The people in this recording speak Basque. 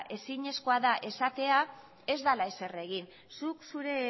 ezinezkoa da esatea ez dela ezer egin zuk zure